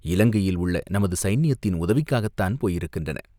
இலங்கையில் உள்ள நமது சைன்யத்தின் உதவிக்காகத்தான் போயிருக்கின்றன.